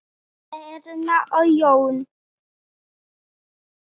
Erna og Jón.